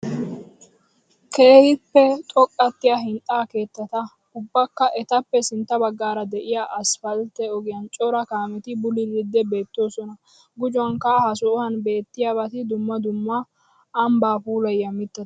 Keehippe xoqqatettay hinxxa keettata ubbakka etappe sintta baggara de'iya asppaltte ogiyan cora kaameti bululiddi bettosona. Gujuwankka ha sohuwaan beettiyabati dumma dumma ambba pulaayiya mittata.